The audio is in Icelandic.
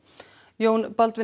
Jón Baldvin